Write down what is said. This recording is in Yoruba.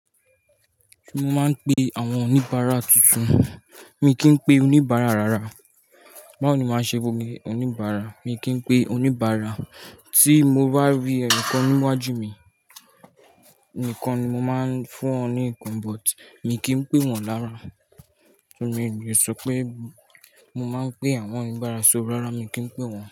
Mo máa ń pe àwọn oníbàárà tuntun, mi kì í pè oníbàárà rárá. Báwo ni màá ṣe bu gbé oníbàárà? Mi kì í pè oníbàárà. Tí mo bá rí ẹnìkan níwájú mi nìkan ni mo máa ń fún ọ ní ikán, but mi kì í pè wọ́n lára. Ṣó mi oo lè sọ pé mo máa ń pe àwọn oníbàárà sórí rárá mi kì í pè wọ́n.